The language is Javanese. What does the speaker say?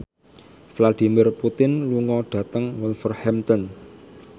Vladimir Putin lunga dhateng Wolverhampton